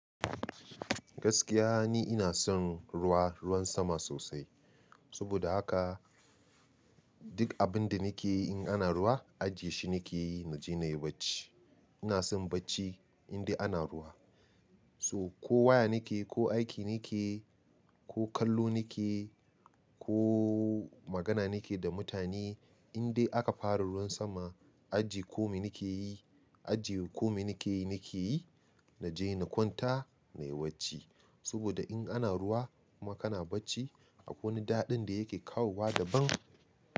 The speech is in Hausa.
Gaskiya ni ina son ruwa, ruwan sama sosai. Saboda haka duk abin da nake yi in ana ruwa, ajiye shi nake na je na yi bacci. Ina son bacci in dai ana ruwa. So ko waya nake, ko aiki nake, ko kallo nake, ko magana nake da mutane, in dai aka fara ruwan sama, ajiye komai nake yi, ajiye komai nake yi nake yi na je na kwanta, na yi bacci. Saboda in ana ruwa kuma kana bacci akwai wani daɗin da yake kawowa daban.